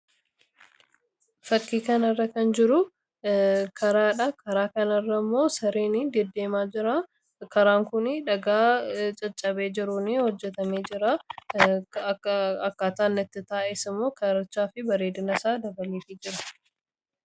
Fakkii kanarra kan jiru karaadha. karaa kanarra immoo sareen deddeemaa jira. karaan kun dhagaa caccabee jiruun hojjetamee jira. akkaataan itti taa'es immoo karichaa fi bareedina isaa dabaluuf jira.